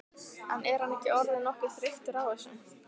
En er hann ekki orðinn nokkuð þreyttur á þessu?